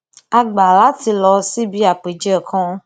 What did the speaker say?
a gbà láti lọ síbi àpèjẹ kan